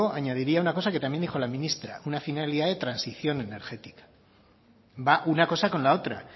añadiría una cosa que también dijo la ministra una finalidad de transición energética va una cosa con la otra